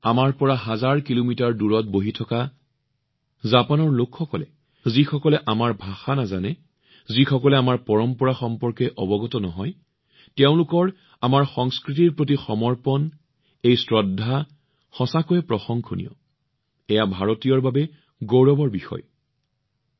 জাপানত আমাৰ পৰা হাজাৰ কিলোমিটাৰ দূৰৈত বহি থকা লোকসকলৰ সমৰ্পণ যি সকলে আমাৰ ভাষা নাজানে আমাৰ পৰম্পৰাৰ বিষয়ে সিমান নাজানে তেওঁলোক আমাৰ সংস্কৃতিৰ প্ৰতি এই সমৰ্পণ এই শ্ৰদ্ধা এই সন্মান অতিশয় প্ৰশংসনীয় কোন ভাৰতীয় ইয়াৰ বাবে গৌৰৱান্বিত নহব